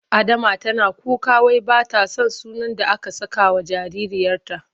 Adama tana kuka wai ba ta son sunan da aka sakawa jaririyarta.